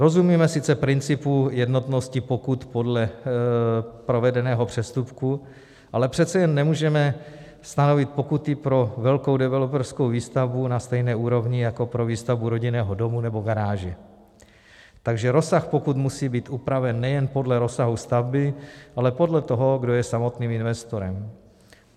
Rozumíme sice principu jednotnosti pokut podle provedeného přestupku, ale přece jen nemůžeme stanovit pokuty pro velkou developerskou výstavbu na stejné úrovni jako pro výstavbu rodinného domu nebo garáže, takže rozsah pokut musí být upraven nejen podle rozsahu stavby, ale podle toho, kdo je samotným investorem.